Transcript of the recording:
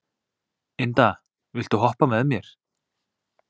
Inda, viltu hoppa með mér?